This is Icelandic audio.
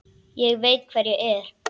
Ég veit hver ég er.